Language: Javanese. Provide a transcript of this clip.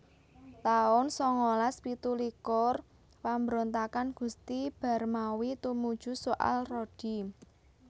taun sangalas pitulikur Pambrontakan Gusti Barmawi tumuju soal rodi